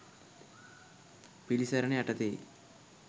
පිළිසරණ යටතේයි.